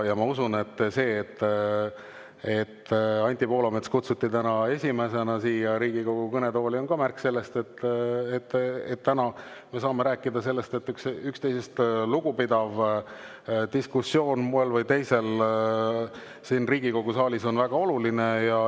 Ja ma usun, et see, et Anti Poolamets kutsuti täna esimesena siia Riigikogu kõnetooli, on ka märk sellest, et me saame rääkida, et üksteisest lugupidav diskussioon moel või teisel siin Riigikogu saalis on väga oluline.